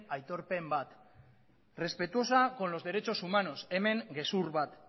aitorpen bat respetuosa con los derechos humanos hemen gezur bat